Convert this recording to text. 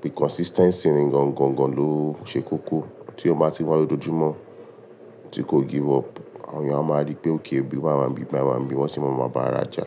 Bí consistency ni gangan lo ṣe kókó, tí èèyàn ba bá ti wá lójoojúmọ́, tí kò give up, àwọn èèyàn a máa rí pé okay o, ibi wa máa ń gbé, bí a máa ń gbé, wọ́n sì máa ba àjà.